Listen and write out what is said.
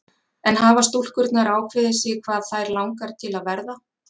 En hafa stúlkurnar ákveðið sig hvað þær langar til að verða?